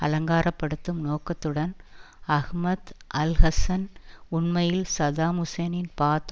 அலங்காரப்படுத்தும் நோக்கத்துடன் Ahmad Alhassan உண்மையில் Saddam ஹுசைனின் பாத்